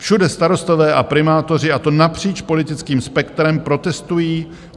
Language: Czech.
Všude starostové a primátoři, a to napříč politickým spektrem, protestují.